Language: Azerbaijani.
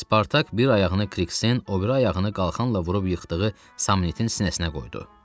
Spartak bir ayağını Kriksin, o biri ayağını qalxanla vurub yıxdığı Samnitin sinəsinə qoydu.